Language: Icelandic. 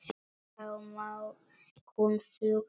Þá má hún fljúga burtu.